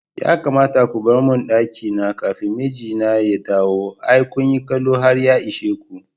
Ya kamata ko barmin ɗakina kafin mijina ya dawo, ai kunyi kallo har ya ishe ko.